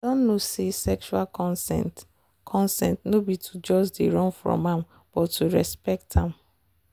i don know say sexual consent consent no be to just dey run from am but to respect am.